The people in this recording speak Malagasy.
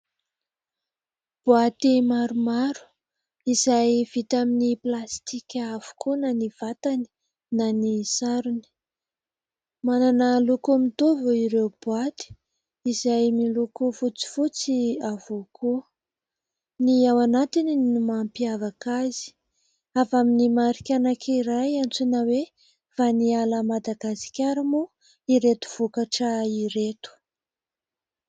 Boaty maromaro izay vita amin'ny plastika avokoa na ny vatany na ny sarony. Manana loko mitovy ireo boaty izay miloko fotsifotsy avokoa ; ny ao anatiny no mampiavaka azy. Avy amin'ny marika anankiray antsoina hoe : "vaniala Madagasikara" moa ireto vokatra ireto.